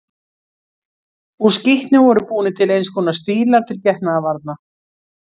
Úr skítnum voru búnir til eins konar stílar til getnaðarvarna.